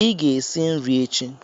Ị ga-esi nri echi.